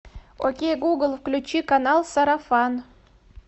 окей гугл включи канал сарафан